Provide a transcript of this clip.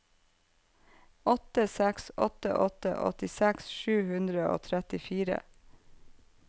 åtte seks åtte åtte åttiseks sju hundre og trettifire